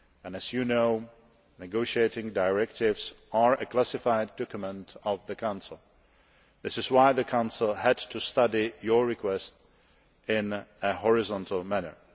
As you know, negotiating directives are a classified document of the Council. This is why the Council had to study your request in a horizontal manner.